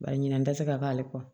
Bari ɲinɛ dɛsɛ ale kɔ